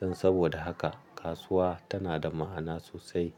Don saboda haka kasuwa tana da ma'ana sosai.